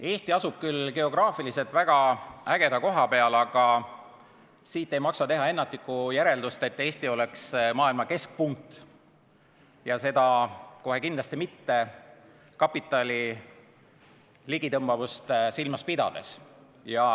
Eesti asub küll geograafiliselt väga ägeda koha peal, aga siit ei maksa teha ennatlikku järeldust, nagu Eesti oleks maailma keskpunkt, seda kohe kindlasti mitte kapitali ligitõmbavust silmas pidades.